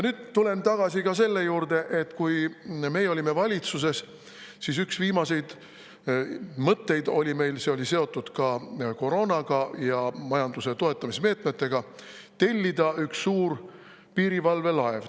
Nüüd tulen tagasi selle juurde, et kui meie olime valitsuses, siis üks viimaseid mõtteid oli meil selline – see oli seotud ka koroonaga ja majanduse toetamise meetmetega –, et tuleks tellida üks suur piirivalvelaev.